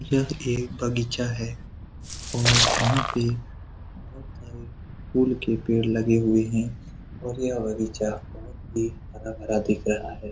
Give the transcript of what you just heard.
यहाँ एक बगीचा है और यहाँ पे बहुत सारे फूल के पेड़ लगे हुए हैं और यह बगीचा बहुत ही हरा-भरा दिख रहा है।